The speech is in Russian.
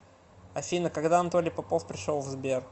афина когда анатолий попов пришел в сбер